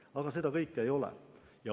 Aga seda kõike ei ole.